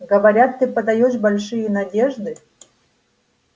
говорят ты подаёшь большие надежды